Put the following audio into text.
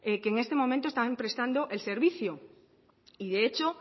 que en este momento están prestando el servicio y de hecho